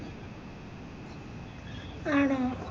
ആട